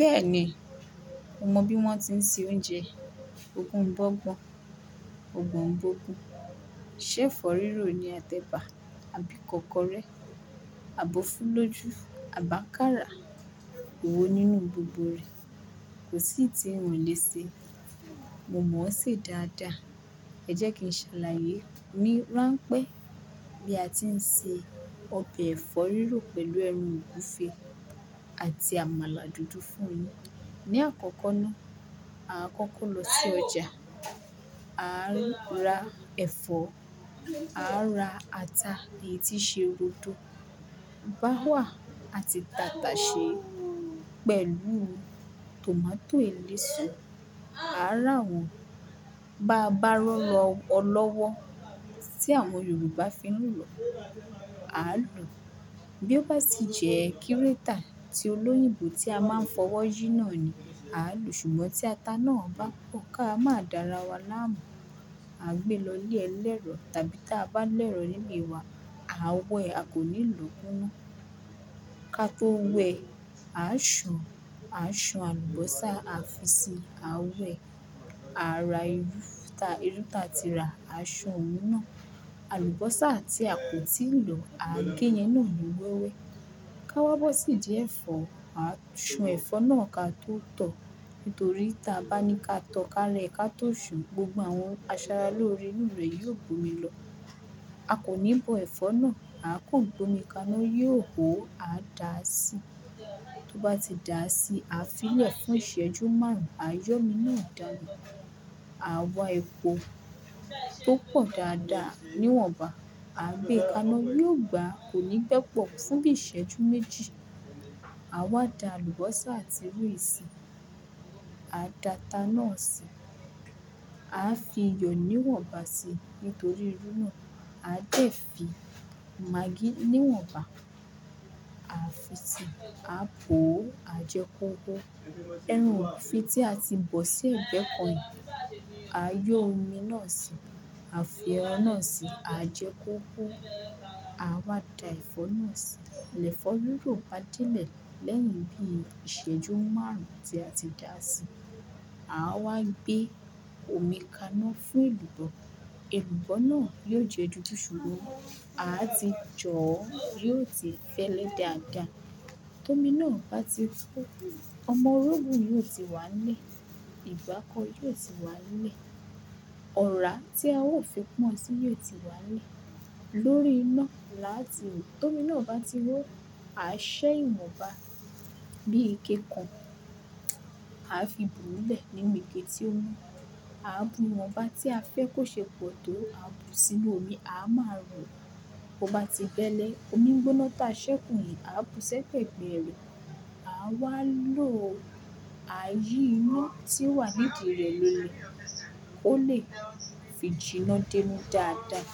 Bẹ́ẹ̀ ni, mo mọ bí wọ́n ti ń se oúnjẹ ogungbọ́gbọ̀n, ogbọ̀n gbogbo, ṣẹ́ẹ́fọ̀ rírò ni a tẹ̀bà, abikọ́kọrẹ́, àbò fulájú, àbi ákárà. Ewo nínú gbogbo rẹ̀, kò sí tí ń wọ́n lè ṣe. Mo mọ̀ ọ́n ṣe dáadáa. Ẹ jẹ́ kí n ṣàlàyé. Mi rán pé bí a ti ń se ọbẹ̀ ẹ̀fọ́ rírò pẹ̀lú ẹran ògúfe àti àmàlà dúdú fún ni. Ni àkọ́kọ́ náà, a kọ́kọ́ lọ sí ọjà, a ń rà ẹ̀fọ́, a rà ata èyí tí ṣe òdòdó, báwà àti tàtàṣẹ́ pẹ̀lú tòmátò eléso. A rà wọ́n. Ba-bá rọ́lọ́ ọlọ́wọ́ tí àwọn Yorùbá fi ń lọ, a lò. Bí ó bá ti jẹ́ kírétà ti olóyìnbó tí a máa ń fọwọ́ jí náà ni, a lò. Ṣùgbọ́n tí ata náà bá pọ́n ká máa dára wá láàmú, a gbé lọ ilé ẹlẹ́rọ tàbí tí a bá lẹ́rọ̀ níbi wa, a wẹ, a kò ní lò kúnú. Ka tó wẹ, a ṣan, a ṣan alubósà, a fi sí, a wẹ, a ra irú, ta-irú ta ti rà, a ṣan òun náà. Alubósà tí a kò tíì lọ, a géyẹn náà ní wẹ́wẹ́. Ka wá bó sì idí ẹ̀fọ́, a ṣan ẹ̀fọ́ náà ka tó tọ̀. Nítorí tí a bá ní ká tọ́ ká rẹ ká tó ṣan, gbogbo àwọn asara lóore nínú rẹ̀ yóò gbomi lọ. A kò ní bọ ẹ̀fọ́ náà, a kùn gbómi kaná yóò hó, a dà á sí. Tó bá ti dà á sí, a fi lẹ̀ fún ìṣẹ́jú márùn-ún. A yọ omi náà dànù. A wá epo tó pọ̀ dáadáa níwọ̀nba, a gbé kaná yóò gbà, kò ní gbẹ pọ̀ fún bí ìṣẹ́jú méjì. A wá da alubósà àti ìrù yì sì. A da ata náà si. A fi iyọ̀ níwọ̀nba si, nítorí irú náà. A dẹ̀ fí magí níwọ̀nba. A fi sí, a bò ó, a jẹ kó hó. Eran tí a ti bò sí egbẹ́ kan, a yọ omi náà si, a fi ẹran náà si, a jẹ kó hó. A wá da ẹ̀fọ́ náà si. Lẹ̀ fọ́ rírò bá dé ilẹ̀ lẹ́yìn bí ìṣẹ́jú márùn-ún tí a ti dà á sí, a wá gbé omi kaná fún èlùbọ́. Èlùbọ́ náà yóò jẹ́ dúdú ṣúrú. A ti jọọ́, yóò ti fẹ́lẹ̀ dáadáa. Tómi náà bá ti tó, ọmọ rogún yóò ti wá le, ìgbá kọ̀ọ̀ yóò ti wá le, ọ̀rá tí a ó fi pọ́n si yóò ti wá le. Lórí iná làá ti rọ̀. Tómi náà bá ti hó, a ṣẹ́ ìwọ̀nba bí ike kan. A fi bùú lẹ̀ níbi ike tí ó mo. A bù ìwọ̀nba tí a fẹ́ kó ṣe pọ̀ tó, a bù sínu omi, a máa rọ. Ó bá ti fẹ́lẹ̀, omi gbóná ta ṣẹ́kù yìí, a bù sẹ́ ẹ́gbẹ̀ rẹ̀. A wá lò, a yí ina tí ó wà nídi rẹ̀ léle kó lè fi jìnnà denú dáadáa.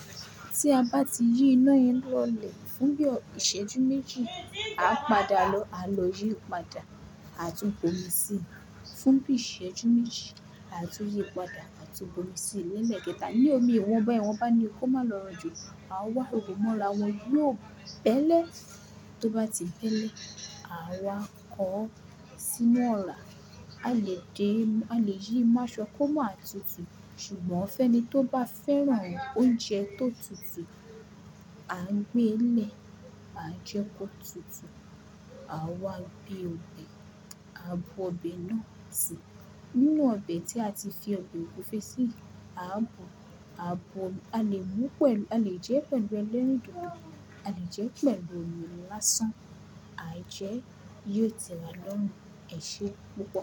Tí a bá ti yí iná ẹnu lọ̀lẹ̀ fún bí ìṣẹ́jú méjì, a padà lọ, a lọ yí padà, a tún bomi si. Fún bí ìṣẹ́jú méjì, a tún yí padà, a tún bomi si lẹ́ẹ̀kẹta. Ni omi ìwọ̀nba, ìwọ̀nba ni ó máa lọ jù. A wá òpómọ láwọn yóò bẹ́lẹ̀. Tó bá ti fẹ́lẹ̀, a wá kọ́ sínu ọ̀rá. A lè dínú, a lè yí í máṣọ́ kó má a tutù. Ṣùgbọ́n fẹ́ ni tó bá fẹ́ràn oúnjẹ tó tutù, a ń gbé lè, a jẹ kó tutù. A wá gbé ọbẹ̀, a bu ọbẹ̀ náà si. Inú ọbẹ̀ tí a ti fi ọbẹ̀ ògúfe sí, a bò, a bò, a lè mú pẹ̀lú, a lè jẹ́ pẹ̀lú ẹlẹ́rìndòdò, a lè jẹ́ pẹ̀lú omi lásán. A jẹ́, yóò tẹ́wa lọ́run. Ẹ ṣé, pupó.